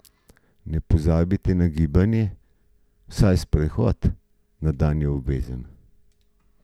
Ne pozabite na gibanje, vsaj sprehod na dan je obvezen!